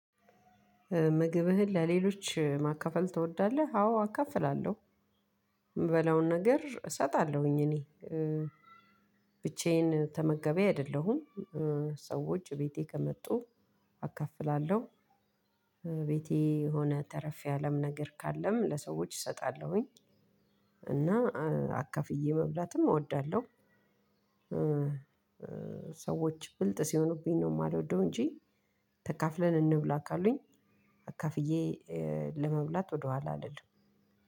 ምግብህን ለሌሎች ማካፈል ትወዳለህ? አዎ አካፍላለሁ ምበላውን ነገር እሰጣለውኝ እኔ እ ብቻዬን ተመጋቢ አይደለሁም እ ሰዎች ቤቴ ከመጡ አካፍላለው ቤቴ የሆነ ተረፍ ያለ ነገር ካለም ለሰዎች እሰጣለሁኝ። እና አካፍየ መብላትም እወዳለው እ ሰዎች ብልጥ ሲሆኑብኝ ነው የማልወደው እንጂ ተካፍለን እንብላ ካሉኝ አካፍዬ ለመብላት ወደኋላ አልልም